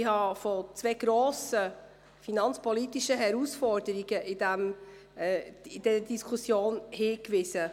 Ich habe in dieser Diskussion auf zwei grosse finanzpolitische Herausforderungen hingewiesen.